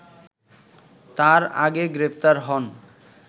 তার আগে গ্রেপ্তার হন